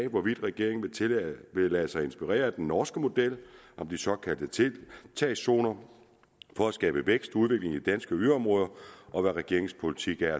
hvorvidt regeringen vil lade sig inspirere af den norske model om de såkaldte tiltagszoner for at skabe vækst og udvikling i danske yderområder og hvad regeringens politik er